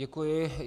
Děkuji.